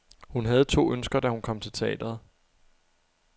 Hun havde to ønsker, da hun kom til teatret.